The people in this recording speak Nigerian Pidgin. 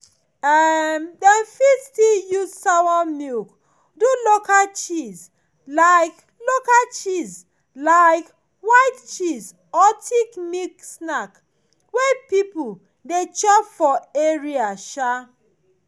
um dem fit still use sawa milk do local cheese like local cheese like white cheese or thick milk snack wey people dey chop for area um